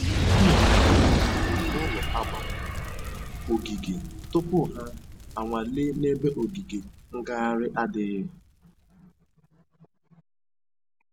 Ha mere mmega ahụ n'ụlọ a gbara ogige tupu ha a nwalee n'ebe ogige ngaghari adịghị